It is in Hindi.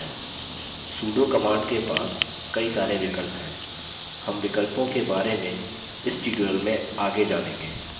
sudo command के पास कई सारे विकल्प हैं हम विकल्पों के बारे इस tutorial में आगे जानेंगे